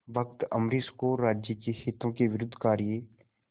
भक्त अम्बरीश को राज्य के हितों के विरुद्ध कार्य